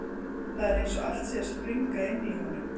Það er eins og allt sé að springa inni í honum.